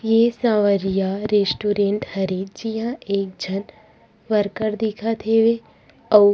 ये सवरिया रेस्टूरेंड हरे जिहा एक झन वर्कर दिखत हवे अउ --